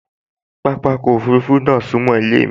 Pápákọ̀ òfurufú náà sún mọ́ ilé mi